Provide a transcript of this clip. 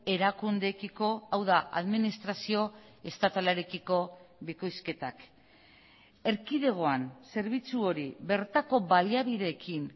erakundeekiko hau da administrazio estatalarekiko bikoizketak erkidegoan zerbitzu hori bertako baliabideekin